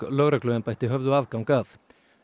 lögregluembætti höfðu aðgang að